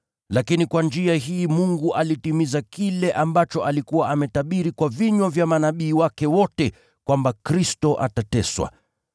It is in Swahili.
Lakini kwa njia hii Mungu alitimiza kile ambacho alikuwa ametabiri kwa vinywa vya manabii wake wote, kwamba Kristo atateswa.